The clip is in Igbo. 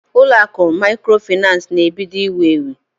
Ụlọ akụ maịkrofaịnans na-ebido iwu ewu.